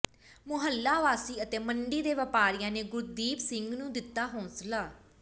ਮੁਹੱਲਾ ਵਾਸੀ ਅਤੇ ਮੰਡੀ ਦੇ ਵਪਾਰੀਆਂ ਨੇ ਗੁਰਦੀਪ ਸਿੰਘ ਨੂੰ ਦਿੱਤਾ ਹੌਾਸਲਾ